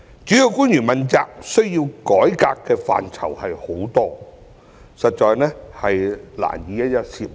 主要官員問責制需要改革的範疇眾多，實在難以一一涉獵。